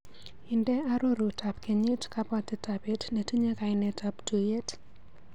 Inde arorutab kenyit kabwatetab bet netinye kainetap tuiyet.